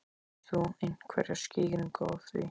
Hefur þú einhverja skýringu á því?